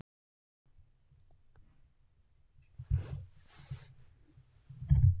Ef hettan er notuð rétt er hún jafn örugg getnaðarvörn og smápillan og lykkjan.